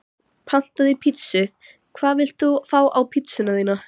Pantaði pizzu Hvað vilt þú fá á pizzuna þína?